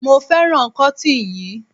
mo fẹràn kotin yíi